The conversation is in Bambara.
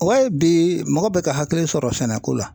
O y'a ye bi mɔgɔ bɛ ka hakili sɔrɔ sɛnɛ ko la.